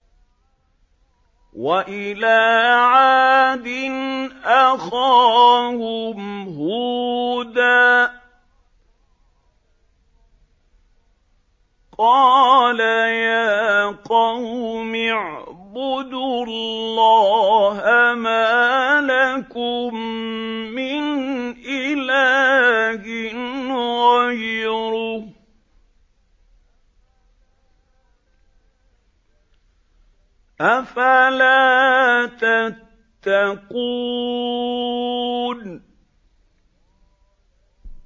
۞ وَإِلَىٰ عَادٍ أَخَاهُمْ هُودًا ۗ قَالَ يَا قَوْمِ اعْبُدُوا اللَّهَ مَا لَكُم مِّنْ إِلَٰهٍ غَيْرُهُ ۚ أَفَلَا تَتَّقُونَ